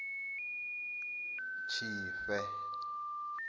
tshifhe